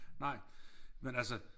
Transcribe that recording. Nej men altså